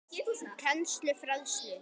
Kennslu og fræðslu